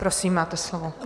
Prosím, máte slovo.